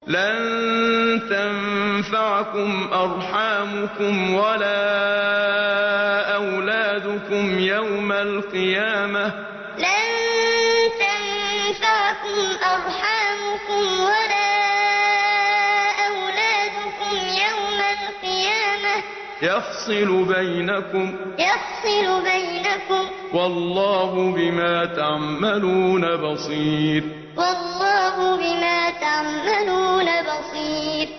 لَن تَنفَعَكُمْ أَرْحَامُكُمْ وَلَا أَوْلَادُكُمْ ۚ يَوْمَ الْقِيَامَةِ يَفْصِلُ بَيْنَكُمْ ۚ وَاللَّهُ بِمَا تَعْمَلُونَ بَصِيرٌ لَن تَنفَعَكُمْ أَرْحَامُكُمْ وَلَا أَوْلَادُكُمْ ۚ يَوْمَ الْقِيَامَةِ يَفْصِلُ بَيْنَكُمْ ۚ وَاللَّهُ بِمَا تَعْمَلُونَ بَصِيرٌ